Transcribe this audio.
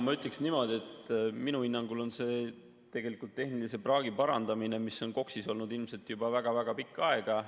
Ma ütleksin niimoodi, et minu hinnangul on see tegelikult tehnilise praagi parandamine, mis on KOKS‑is olnud ilmselt juba väga-väga pikka aega.